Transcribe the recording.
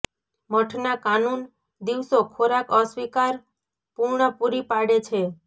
મઠના કાનૂન દિવસો ખોરાક અસ્વીકાર પૂર્ણ પૂરી પાડે છે